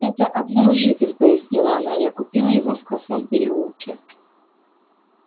это обнаружитель пояснила она я купила его в косом переулке